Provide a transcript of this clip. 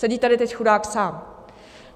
Sedí tady teď chudák sám.